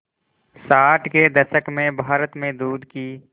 साठ के दशक में भारत में दूध की